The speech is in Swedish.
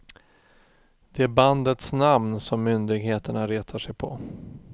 Det är bandets namn som myndigheterna retar sig på.